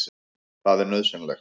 Það er nauðsynlegt.